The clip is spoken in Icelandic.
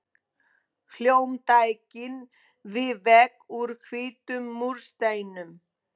Hljómtækin við vegg úr hvítum múrsteinum.